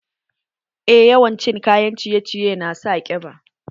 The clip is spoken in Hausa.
Eh, yawan cin kayan ciye ciye na sa ƙiba